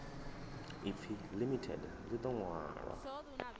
ipfi limited ḽi ḓo ṅwalwa